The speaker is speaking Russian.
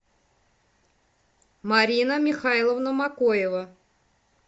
марина михайловна макоева